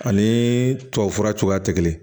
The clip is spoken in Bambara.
Ani tubabufura cogoya tɛ kelen